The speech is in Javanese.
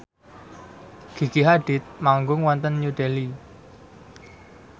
Gigi Hadid manggung wonten New Delhi